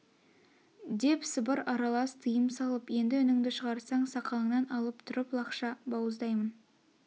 деп сыбыр аралас тыйым салып енді үніңді шағарсаң сақалыңнан алып тұрып лақша бауыздаймын